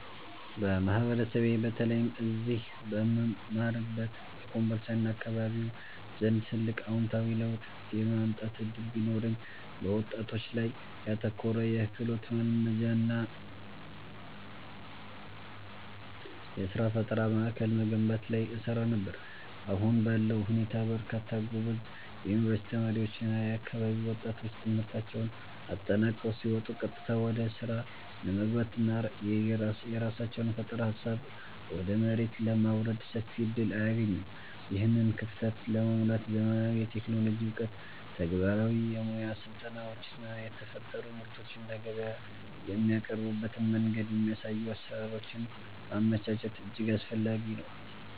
በማህበረሰቤ በተለይም እዚህ በምማርበት በኮምቦልቻና አካባቢው አንድ ትልቅ አዎንታዊ ለውጥ የማምጣት ዕድል ቢኖረኝ፣ በወጣቶች ላይ ያተኮረ የክህሎት ማልማጃና የሥራ ፈጠራ ማዕከል መገንባት ላይ እሰራ ነበር። አሁን ባለው ሁኔታ በርካታ ጎበዝ የዩኒቨርሲቲ ተማሪዎችና የአካባቢው ወጣቶች ትምህርታቸውን አጠናቀው ሲወጡ ቀጥታ ወደ ሥራ ለመግባትና የራሳቸውን የፈጠራ ሃሳብ ወደ መሬት ለማውረድ ሰፊ ዕድል አያገኙም። ይህንን ክፍተት ለመሙላት ዘመናዊ የቴክኖሎጂ ዕውቀት፣ ተግባራዊ የሙያ ስልጠናዎችና የተፈጠሩ ምርቶችን ለገበያ የሚያቀርቡበትን መንገድ የሚያሳዩ አሰራሮችን ማመቻቸት እጅግ አስፈላጊ ነው።